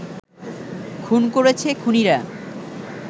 খুন করেছে খুনিরা